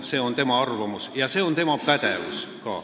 See on tema arvamus ja ka tema pädevus.